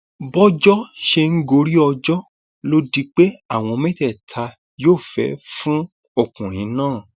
bọjọ sì ṣe ń gorí ọjọ ló di pé àwọn mẹtẹẹta yófẹẹ fún ọkùnrin náà